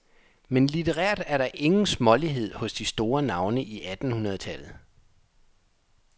Men litterært er der ingen smålighed hos de store navne i attenhundredetallet.